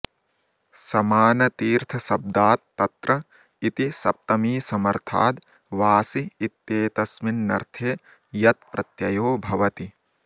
समाऽनतीर्थशब्दात् तत्र इति सप्तमीसमर्थाद् वासि इत्येतस्मिन्नर्थे यत् प्रत्ययो भवति